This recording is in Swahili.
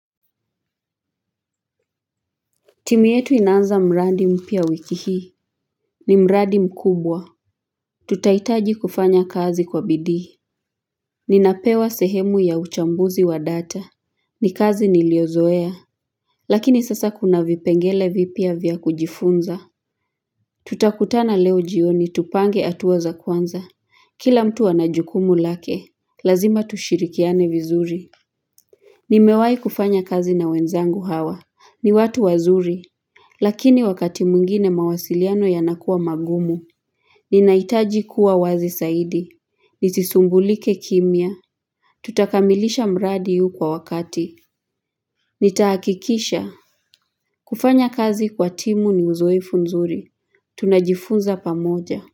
Timu yetu inaanza mradi mpya wiki hii, ni mradi mkubwa. Tutahitaji kufanya kazi kwa bidii. Ninapewa sehemu ya uchambuzi wa data, ni kazi niliyozoea. Lakini sasa kuna vipengele vipya vya kujifunza. Tutakutana leo jioni tupange hatuwa za kwanza, kila mtu ana jukumu lake, lazima tushirikiane vizuri. Nimewahi kufanya kazi na wenzangu hawa, ni watu wazuri. Lakini wakati mwingine mawasiliano yanakuwa magumu Ninahitaji kuwa wazi zaidi Nisisumbulike kimya Tutakamilisha mradi huu kwa wakati Nitahakikisha kufanya kazi kwa timu ni uzoefu nzuri Tunajifunza pamoja.